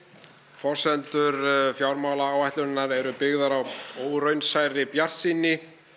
forsendur fjármálaáætlunarinnar eru byggðar á óraunsærri bjartsýni